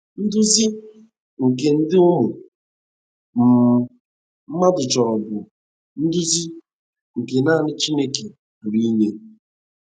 Nduzi nke dị ụmụ um mmadụ choro bụ nduzi nke nanị Chineke pụrụ inye.